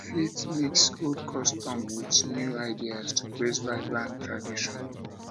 we fit mix old customs with new ideas to create vibrant traditions